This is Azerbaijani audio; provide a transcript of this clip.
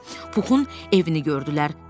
Puxun evini gördülər.